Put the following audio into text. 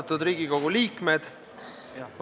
Austatud Riigikogu liikmed!